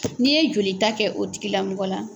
N'i ye joli ta kɛ o tigilamɔgɔ la.